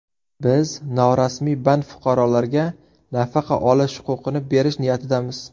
Biz norasmiy band fuqarolarga nafaqa olish huquqini berish niyatidamiz.